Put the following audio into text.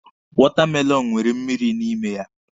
Wọtamelọnụ nwere mmịrị n'ime ya.